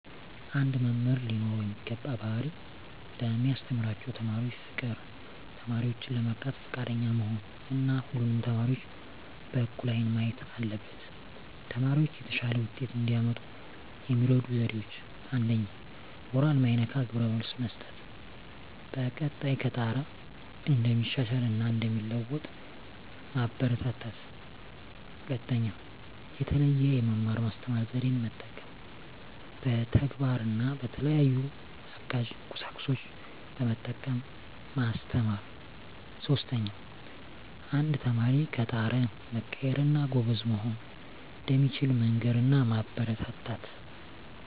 አንድ መምህር ሊኖረው የሚገባው ባህሪ ለሚያስተምራቸው ተማሪዎች ፍቅር፣ ተማሪዎችን ለመርዳት ፈቃደኛ መሆን እና ሁሉንም ተማሪዎች በእኩል አይን ማየት አለበት። ተማሪዎች የተሻለ ውጤት እንዲያመጡ የሚረዱ ዜዴዎች 1ኛ. ሞራል ማይነካ ግብረ መልስ መስጠት፣ በቀጣይ ከጣረ እንደሚሻሻል እና እንደሚለዎጡ ማበራታታት። 2ኛ. የተለየ የመማር ማስተማር ዜዴን መጠቀም፣ በተግባር እና በተለያዩ አጋዥ ቁሳቁሶችን በመጠቀም ማስተማር። 3ኛ. አንድ ተማሪ ከጣረ መቀየር እና ጎበዝ መሆን እንደሚችል መንገር እና ማበረታታት።